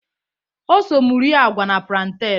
O so m rịe agwa na plantain.